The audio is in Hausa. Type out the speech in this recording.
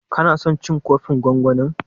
Ka na son cin kofin gwangwanin?